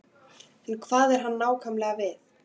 En hvað á hann nákvæmlega við?